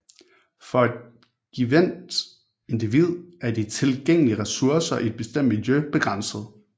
For et givent individ er de tilgængelige resurser i et bestemt miljø begrænsede